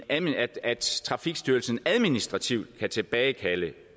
at at trafikstyrelsen administrativt kan tilbagekalde